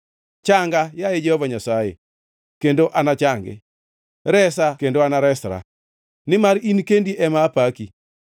Changa, yaye Jehova Nyasaye, kendo anachangi; resa kendo anaresra, nimar in kendi ema apaki.